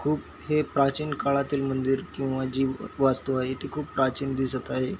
खूप हे प्राचीन काळातील मंदिर किंवा जी वस्तु आहे ती खूप प्राचीन दिसत आहे.